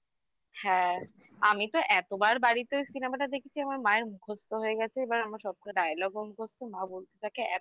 হ্যাঁ আমি তো এতবার বাড়িতে cinema টা দেখেছি আমার মায়ের মুখস্ত হয়ে গেছে এবার আমার সবকটা dialogue মুখস্থ মা বলতে থাকে